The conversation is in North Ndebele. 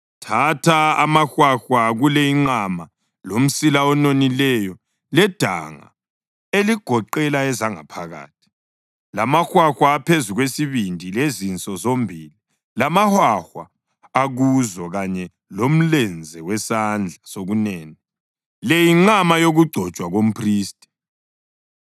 Thatha amahwahwa kule inqama, lomsila ononileyo, ledanga eligoqela ezangaphakathi, lamahwahwa aphezu kwesibindi, lezinso zombili lamahwahwa akuzo kanye lomlenze wesandla sokunene. (Le yinqama yokugcotshwa komphristi.)